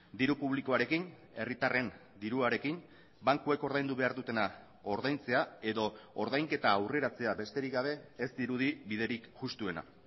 diru publikoarekin herritarren diruarekin bankuek ordaindu behar dutena ordaintzea edo ordainketa aurreratzea besterik gabe ez dirudi biderik justuena